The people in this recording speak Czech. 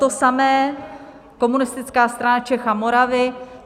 To samé Komunistická strana Čech a Moravy.